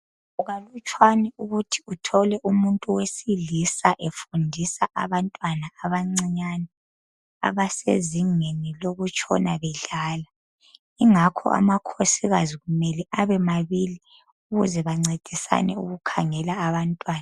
Kukalutshwana ukuthi uthole umuntu wesilisa efundisa abantwana abancinyane abasezingeni lokutshona bedlala. Ingakho amakhosokazi kumele abe mabili ukuze bancedisane ukukhangela abantwana.